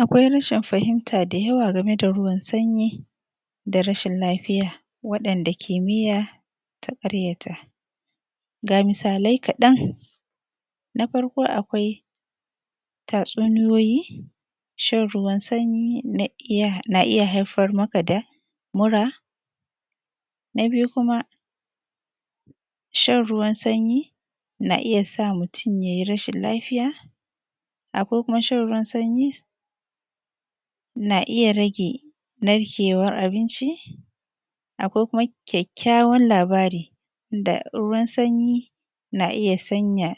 Akwai rashin fahimta da yawa game da ruwan sanyi da rashin lafiya waɗanda kimiyya ta ƙaryata, ga misalai kaɗan: Na farko akwai tatsuniyoyi, shan ruwan sanyi ina iya haifar maka da mura. Na biyu kuma, shan ruwan sanyi na iya sa mutum ya yi rashin lafiya akwai kuma shan ruwan sanyi na iya rage narkewar abinci, akwai kuma kyakkyawan labari da ruwan sanyi na iya sanya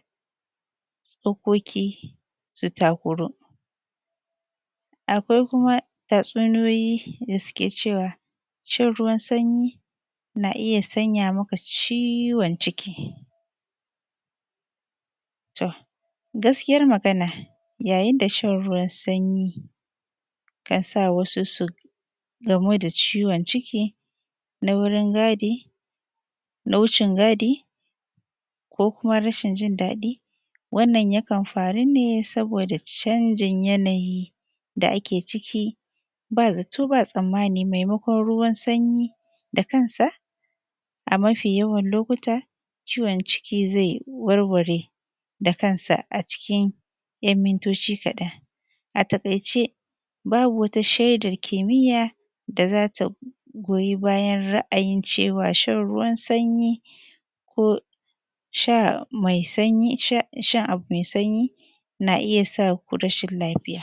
tsookoki su takuru. Akwai kuma tatsuniyoyi da suke cewa shan ruwan sanyi na iya sanya maka ciwon ciki, to, gaskiyar magana yayin da shan ruwan sanyi kan sa wasu gamoo da ciwon ciki na wurin gadi, na wucin-gadi ko kuma rashin jin daɗi, wannan ya kan faru ne saboda canjin yanayi da ake ciki ba zato ba tsammani maimakon ruwan sanyi ta kansa a mafii yawan lokuta ciwon ciki zai warware da kansa a cikin ‘jan mintooci kaɗan. A taƙaice babu wata shaidar kimiyya da za ta goyi bayan ra'ayin cewa shan ruwan sanyi ko sha shan abu mai sanyi na iya sa rashin lafiya.